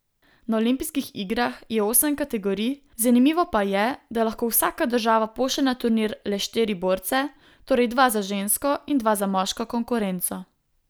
Na olimpijskih igrah je osem kategorij, zanimivo pa je, da lahko vsaka država pošlje na turnir le štiri borce, torej dva za žensko in dva za moško konkurenco.